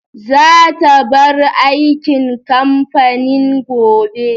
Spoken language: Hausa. Za ta bar aikin kamfanin gobe.